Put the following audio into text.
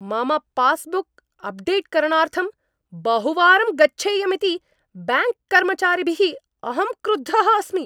मम पास्बुक् अप्डेट्करणार्थं बहुवारं गच्छेयमिति ब्याङ्क्कर्मचारिभिः अहं क्रुद्धः अस्मि।